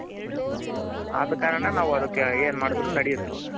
ಆದ ಕಾರಣ ನಾವು ಅದಕ್ಕ್ ಏನ್ ಮಾಡ್ದ್ರು ನೆಡೆಯುತ್ತೆ ಅವಾಗ.